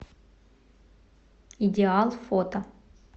идеал фото